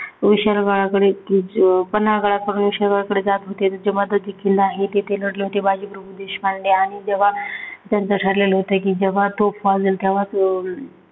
विशाल गडाकडे पन्हाळ गडकडून विशाल गडाकडे जात होते. तेव्हा तिथे किल्ला आहे. तेथे लढले होते बाजीप्रभू देशपांडे आणि तेव्हा त्यांच ठरलेलं होत जेव्हा तोफ वाजेल तेव्हाचं,